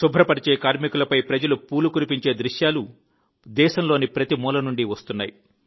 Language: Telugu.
శుభ్రపరిచే కార్మికులపై ప్రజలు పూలు కురిపించే దృశ్యాలు దేశంలోని ప్రతి మూల నుండి వస్తున్నాయి